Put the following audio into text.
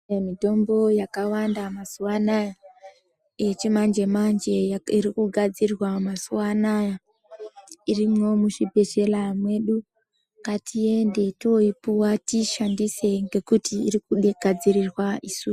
Mitombo yakawanda mazuvaanaya, yechimanje manje irikugadzirwa mazuva anaya irimo muzvibhedlera medu ngatiende tinoyipuwa tiyishandisa nekuti irikudegadzirirwa isu.